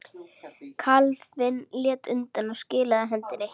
Kalífinn lét undan og skilaði hendinni.